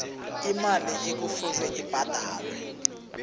imali ekufuze ibhadalwe